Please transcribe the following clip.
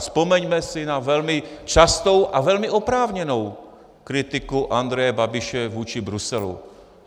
Vzpomeňme si na velmi častou a velmi oprávněnou kritiku Andreje Babiše vůči Bruselu.